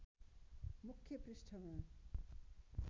मुख्य पृष्ठमा